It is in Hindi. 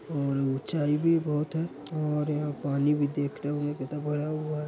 और ऊंचाई भी बहुत है और यहाँ पानी भी देखना कितना भरा हुआ है।